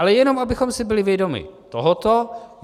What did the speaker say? Ale jenom abychom si byli vědomi tohoto.